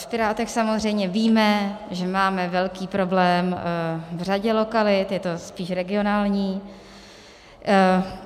V Pirátech samozřejmě víme, že máme velký problém v řadě lokalit, je to spíš regionální.